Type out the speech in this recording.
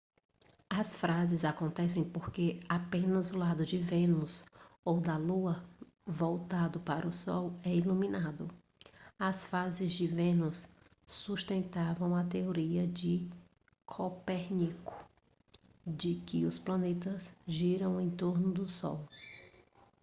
as fases acontecem porque apenas o lado de vênus ou da lua voltado para o sol é iluminado. as fases de vênus sustentavam a teoria de copérnico de que os planetas giram em torno do sol